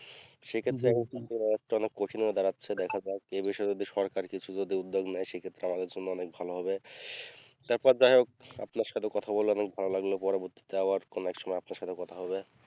সেক্ষেত্রে অনেকটা কঠিন হয়ে দাঁড়াচ্ছে দেখা যাক এ বিষয়ে যদি সরকার কিছু যদি উদ্যোগ নেয় সেক্ষেত্রে আমাদের জন্য অনেক ভালো হবে তারপর যাই হোক আপনার সাথে কথা বলে অনেক ভালো লাগলো পরবর্তীতে আবার কোনো এক সময়ে আপনার সাথে কথা হবে